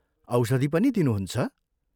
औषधि पनि दिनुहुन्छ?